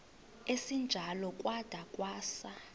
esinjalo kwada kwasa